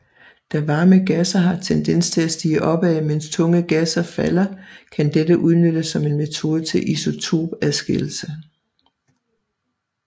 Da varme gasser har tendens til stige opad mens tunge gasser falder kan dette udnyttes som en metode til isotopadskillelse